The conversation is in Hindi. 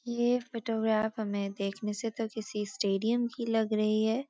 ये फोटोग्राफ हमें देखने से तो किसी स्‍टेडियम की लग रही है।